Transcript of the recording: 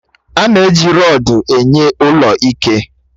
A na-eji rọdu na-enye ụlọ ike